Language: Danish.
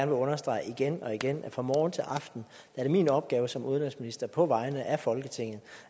vil understrege igen og igen at fra morgen til aften er det min opgave som udenrigsminister på vegne af folketinget